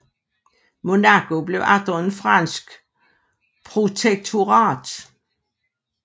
Monaco blev atter et fransk protektorat